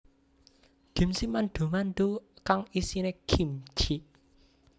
Gimchi mandu mandu kang isine kimchi